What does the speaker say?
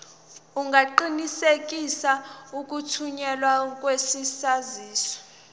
ungaqinisekisa ukuthunyelwa kwesaziso